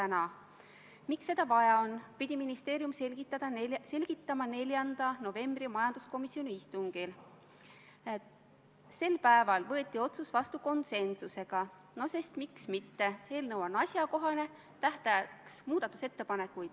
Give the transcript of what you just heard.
Nagu öeldud, eile kohtusid komisjonid Kaitseväe juhatajaga, kes korduvalt rõhutas välismissioonidel osalemise tähtsust, sest see aitab kindlustada meie liitlassuhteid, seda eriti veel, eks ole, sellises keerulises piirkonnas nagu Mali.